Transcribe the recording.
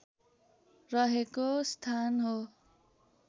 रहेको स्थान हो